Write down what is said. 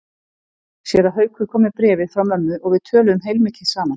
Séra Haukur kom með bréfið frá mömmu og við töluðum heilmikið saman.